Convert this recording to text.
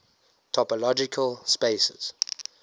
topological spaces